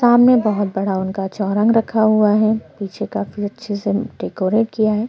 सामने बहोत बड़ा उनका चौरंग रखा हुआ है पीछे काफी अच्छे से डेकोरेट किया है।